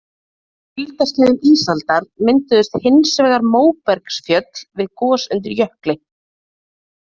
Á kuldaskeiðum ísaldar mynduðustu hins vegar móbergsfjöll við gos undir jökli.